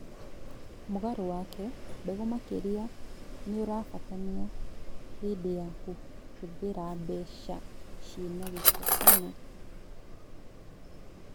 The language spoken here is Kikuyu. Mũgarũ wake, mbegũ makĩria nĩurabatania hĩndĩ ya kũhũthĩra mbegũ ciĩna gĩko kana